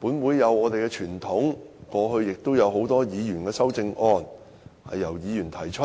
本會有傳統，過去也有不少修正案由議員提出，